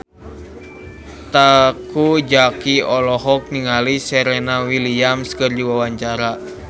Teuku Zacky olohok ningali Serena Williams keur diwawancara